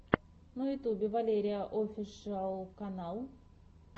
на ютубе валерияофишиал канал